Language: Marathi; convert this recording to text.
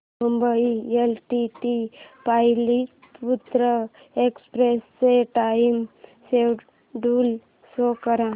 मुंबई एलटीटी पाटलिपुत्र एक्सप्रेस चे टाइम शेड्यूल शो कर